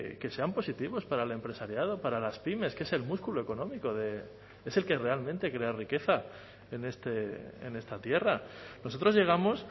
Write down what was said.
que sean positivos para el empresariado para las pymes que es el músculo económico es el que realmente crea riqueza en esta tierra nosotros llegamos